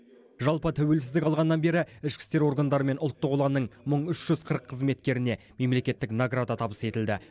жалпы тәуелсіздік алғаннан бері ішкі істер органдары мен ұлттық ұланның мың үш жүз қырық қызметкеріне мемлекеттік награда табыс етілді